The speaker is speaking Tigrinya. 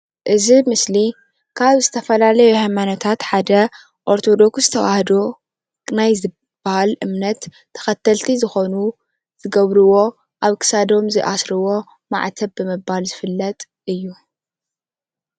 እዚ ምስሊ ካብ ዝተፈላለዩ ሃይማኖታት ሓደ ኦርቶዶክስ ተዋህዶ ናይ ዝብሃል እምነት ተከተልቲ ዝኮኑ ዝገብርዎ ኣብ ክሳዶም ዝኣስርዎ ማዕተብ ብምባል ዝፍለጥ እዩ፡፡